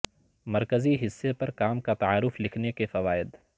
مرکزی حصے پر کام کا تعارف لکھنے کے فوائد